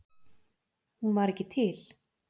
Hún var ekki til.